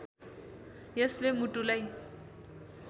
यसले मुटुलाई